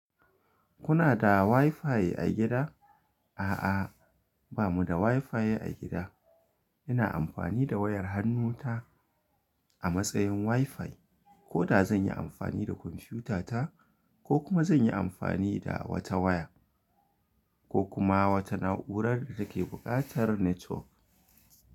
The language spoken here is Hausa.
Kuna da WiFi a gida? A'a, ba mu da WiFi a gida. Ina amfani da wayar hannu ta a matsayin WiFi. Ko da zan yi amfani da kwamfuta ta, ko kuma zan yi amfani da wata waya ko kuma wata na’urar da take buƙatar network.